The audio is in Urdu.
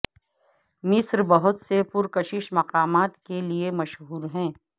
مصر بہت سے پرکشش مقامات کے لئے مشہور ہے